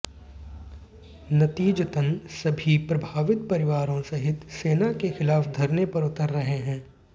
नतीजतन सभी प्रभावित परिवारों सहित सेना के खिलाफ धरने पर उतर रहे हैं